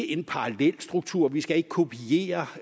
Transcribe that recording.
en parallelstruktur vi skal ikke kopiere